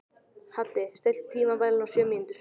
Haddi, stilltu tímamælinn á sjö mínútur.